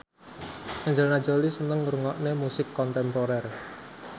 Angelina Jolie seneng ngrungokne musik kontemporer